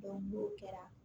n'o kɛra